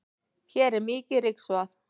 hér er mikið ryksugað